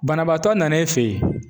Banabaatɔ nan'i fɛ ye